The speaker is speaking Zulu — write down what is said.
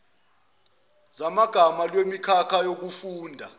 zamagama lwemikhakha yokufunda